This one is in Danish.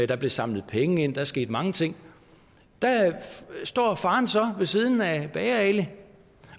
der blev samlet penge ind og der skete mange ting og står faderen så ved siden af bager ali